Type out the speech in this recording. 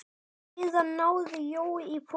Síðan náði Jói í poka.